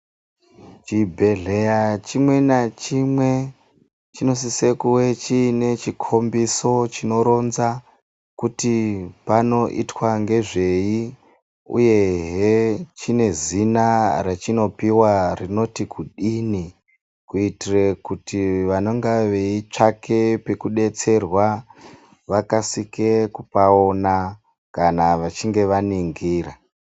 Chibhedhleya chimwe nachimwe chinosisa kunge chine chikhombiso chinoronza kuti panoitwa ngezvei uyehe chine zina rachinopiwa rinoti kudini kuitire kuti vanonga veitsvaka pekudetserwa vakasike kupaona vachinge vaningira.